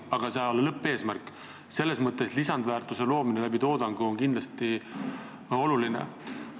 Aga lõppeesmärk, toodangu kaudu lisandväärtuse loomine on kindlasti oluline.